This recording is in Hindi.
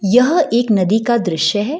यह एक नदी का दृश्य है।